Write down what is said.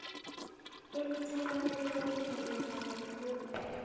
elithabaleleko malungana nalokhu